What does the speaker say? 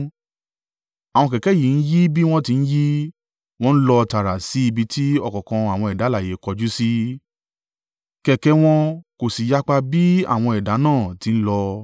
Àwọn kẹ̀kẹ́ yìí ń yí bí wọ́n ti ń yí, wọ́n ń lọ tààrà sí ibi tí ọ̀kọ̀ọ̀kan àwọn ẹ̀dá alààyè kọjú sí, kẹ̀kẹ́ wọn kò sì yapa bí àwọn ẹ̀dá náà ti n lọ.